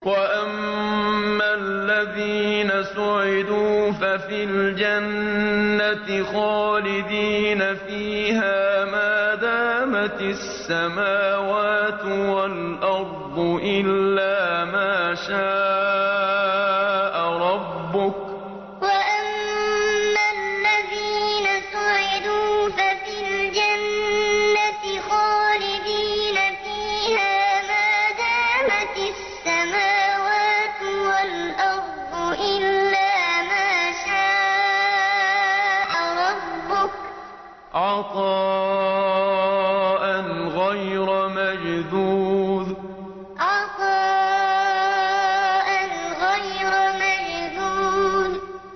۞ وَأَمَّا الَّذِينَ سُعِدُوا فَفِي الْجَنَّةِ خَالِدِينَ فِيهَا مَا دَامَتِ السَّمَاوَاتُ وَالْأَرْضُ إِلَّا مَا شَاءَ رَبُّكَ ۖ عَطَاءً غَيْرَ مَجْذُوذٍ ۞ وَأَمَّا الَّذِينَ سُعِدُوا فَفِي الْجَنَّةِ خَالِدِينَ فِيهَا مَا دَامَتِ السَّمَاوَاتُ وَالْأَرْضُ إِلَّا مَا شَاءَ رَبُّكَ ۖ عَطَاءً غَيْرَ مَجْذُوذٍ